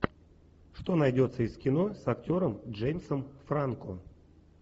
что найдется из кино с актером джеймсом франко